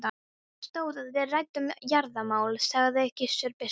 Til stóð að við ræddum jarðamál, sagði Gizur biskup.